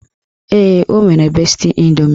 Ee, o nwere besti indomi